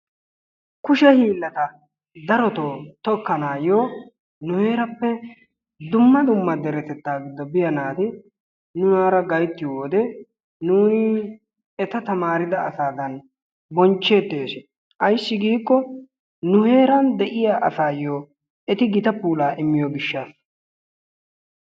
Kushe hiillata daro tokkanaayyo nu heerappe dumma dumma deretettaa giddo biya naati nunaara gayttiyoo wode nuuni eta taamarida asaadan bonchcheettes. Ayssi giikko nu heeran de'iyaa asaayyo eti gita puula immiyo gishshassa.